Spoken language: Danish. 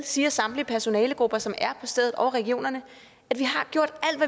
siger samtlige personalegrupper som er på stedet og regionerne at de har gjort alt